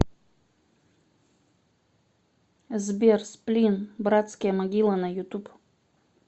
сбер сплин братские могилы на ютуб